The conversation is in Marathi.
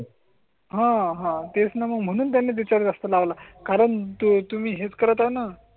हां, हां तेच ना म्हणून त्यांनी विचार जास्त लावला. कारण तुम्हीच करताना.